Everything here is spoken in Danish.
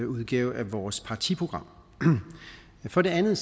udgave af vores partiprogram for det andet